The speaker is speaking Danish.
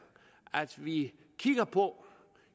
at vi kigger på